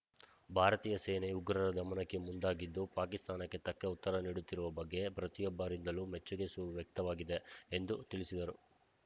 ಭಾರತೀಯ ಸೇನೆ ಉಗ್ರರ ದಮನಕ್ಕೆ ಮುಂದಾಗಿದ್ದು ಪಾಕಿಸ್ತಾನಕ್ಕೆ ತಕ್ಕ ಉತ್ತರ ನೀಡುತ್ತಿರುವ ಬಗ್ಗೆ ಪ್ರತಿಯೊಬ್ಬರಿಂದಲೂ ಮೆಚ್ಚುಗೆ ಸು ವ್ಯಕ್ತವಾಗಿದೆ ಎಂದು ತಿಳಿಸಿದರು